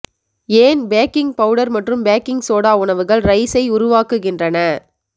ஏன் baking powder மற்றும் baking soda உணவுகள் ரைஸை உருவாக்குகின்றன